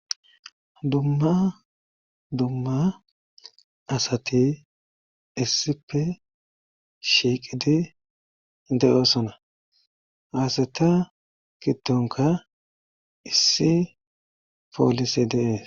dumma dumma asati issipe shiiqidi de7osona haasata giddonka issi poolise deees